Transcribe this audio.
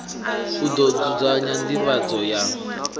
u ḓo dzudzanya nḓivhadzo ya